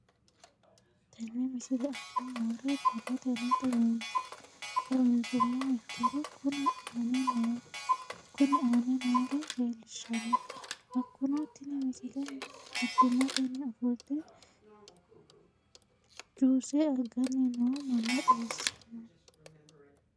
Tenne misile aana noore borrotenni xawisummoha ikirro kunni aane noore leelishano. Hakunno tinni misile mittimatenni ofolte juuce agganni noo manna xawissanno.